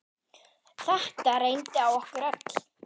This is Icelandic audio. Þetta reyndi á okkur öll.